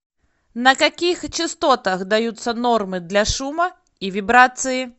на каких частотах даются нормы для шума и вибрации